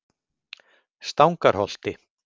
Stangarholti